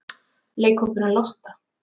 Leikhópurinn Lotta?